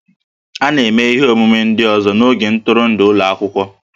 A na-eme ihe omume ndị ọzọ n'oge ntụrụndụ n'ụlọ akwụkwọ